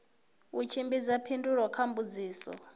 u tshimbidza phindulo kha mbudziso